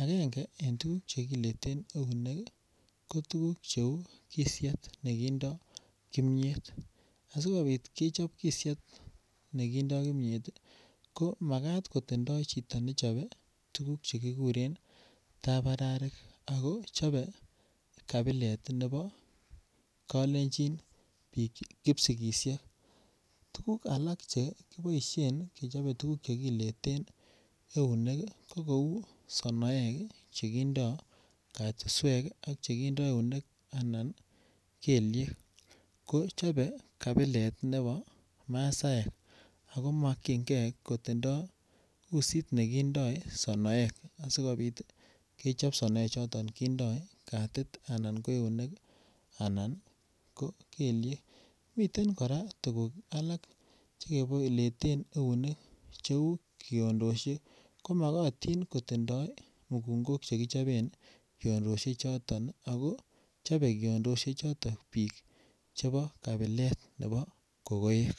angenge en tuguk che kileten eunek ii ko tuguk che uu kisiet nekindo kimyet asikopit kechob kisiet nekindo kimyet ii ko makat kotindo chito nechobee tuguk che kiguren tabararik chobe kabilet nebo kolenjin kipsigisiek, tuguk alak che boishen kechobe tuguk che kileten eunek ii ko kouu sonoek che kindo katuswek ak chekindo eunek anan kelyek ko chobe kabilet nebo masaek ako mokyingee kotindo usit nekindo sonoek asikopit ii kechob sonoek choton kindo katit anan ko eunek anan ko kelyek. Miten koraa tuguk alak che kibo kileten eunek che uu kiondoshek ko mogotin kotindo mugungok che kichoben kiondoshek choton ii ako chobe kiondoshek choton biik chebo kabilet nebo kogoek